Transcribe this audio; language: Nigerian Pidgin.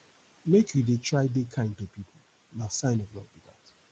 make you dey try dey kind to pipo na sign of love be dat